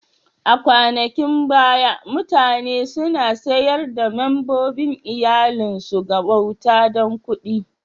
A kwanakin baya, mutane suna sayar da membobin iyallin su ga bauta dan kuɗi.